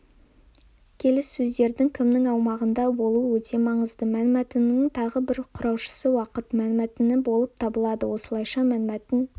келіссөздердің кімнің аумағында болуы өте маңызды мәнмәтіннің тағы бір құраушысы уақыт мәнмәтіні болып табылады осылайша мәнмәтін